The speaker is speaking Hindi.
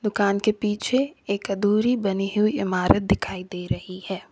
दुकान के पीछे एक अदूरी बनी हुई इमारत दिखाई दे रही है।